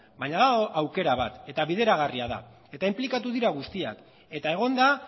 baina badago aukera bat eta bideragarria da eta inplikatu dira guztiak eta egon da